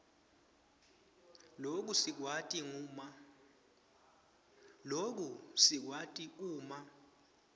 loku sikwati uma